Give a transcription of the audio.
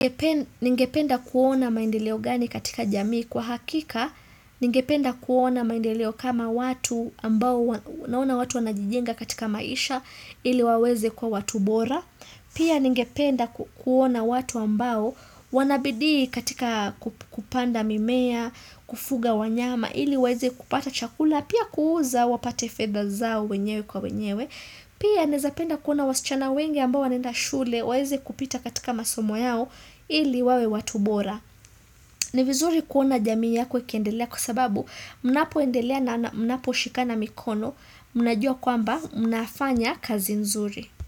Ningependa kuona maendeleo gani katika jamii kwa hakika, ningependa kuona maendeleo kama watu ambao naona watu wanajijenga katika maisha ili waweze kuwa watu bora, pia ningependa kuona watu ambao wanabidi katika kupanda mimea, kufuga wanyama ili waweze kupata chakula, pia kuuza wapate fedha zao wenyewe kwa wenyewe, Pia nawezapenda kuona wasichana wenge ambao wanaenda shule waeze kupita katika masomo yao ili wawe watu bora. Ni vizuri kuona jamii yako ikiendelea kwa sababu mnapo endelea na mnapo shikana mikono mnajua kwamba mnafanya kazi nzuri.